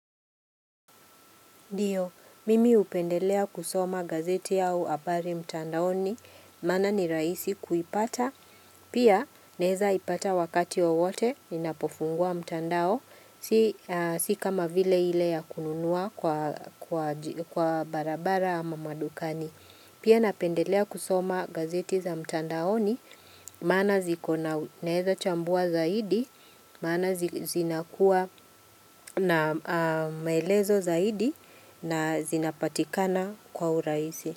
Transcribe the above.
Ndio, mimi hupendelea kusoma gazeti au habari mtandaoni, maana ni rahisi kuipata, pia naeza ipata wakati wowote, ninapofungua mtandao, si kama vile ile ya kununua kwa barabara ama madukani. Pia napendelea kusoma gazeti za mtandaoni, maana zikona naeza chambua zaidi, maana zinakuwa na maelezo zaidi na zinapatikana kwa urahisi.